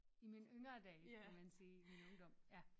I mine yngre dage kan man sige i min ungdom ja